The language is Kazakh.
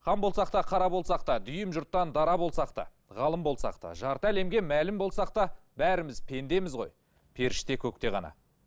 хан болсақ та қара болсақ та дүйім жұрттан дара болсақ та ғалым болсақ та жарты әлемге мәлім болсақ та бәріміз пендеміз ғой періште көкте ғана